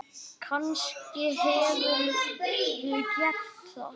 Kannske hefurðu gert það.